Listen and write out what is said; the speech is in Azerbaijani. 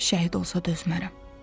Şəhid olsa dözmərəm.